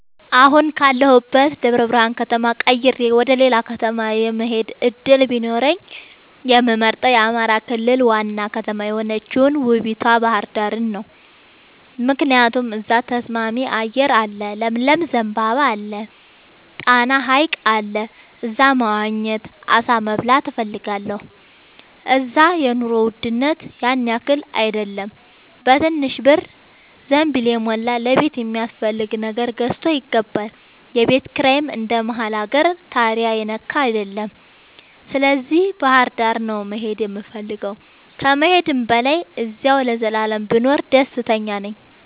አሁን ካለሁበት ደብረብርሃን ከተማ ቀይሬ ወደሌላ ከተማ የመሆድ እድል ቢኖረኝ የምመርጠው የአማራ ክልል ዋና ከተማ የሆነችውን ውቡቷ ባህርዳርን ነው። ምክንያቱም እዛ ተስማሚ አየር አለ ለምለም ዘንባባ አለ። ጣና ሀይቅ አለ እዛ መዋኘት አሳ መብላት እፈልጋለሁ። እዛ የኑሮ ውድነቱም ያንያክል አይደለም በትንሽ ብር ዘንቢልን የሞላ ለቤት የሚያስፈልግ ነገር ገዝቶ ይገባል። የቤት ኪራይም እንደ መሀል አገር ታሪያ የነካ አይደለም ስለዚህ ባህርዳር ነው መሄድ የምፈልገው ከመሄድም በላይ አዚያው ለዘላለም ብኖር ደስተኛ ነኝ።